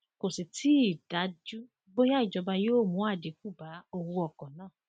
kò sì tì í dájú bóyá ìjọba yóò mú àdínkù bá owó ọkọ náà